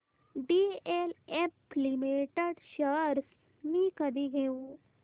DLF limited shares मी कधी घेऊ